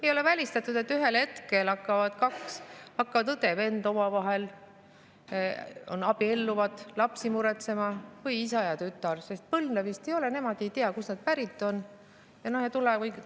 Ei ole välistatud, et ühel hetkel hakkavad õde-venda omavahel abielluma ja lapsi muretsema, või ka isa ja tütar, sest põlvnemine ei ole, nad ei tea, kust nad pärit on.